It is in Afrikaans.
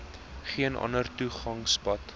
geen ander toegangspad